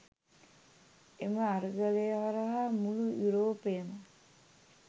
එම අරගලය හරහා මුළු යුරෝපයම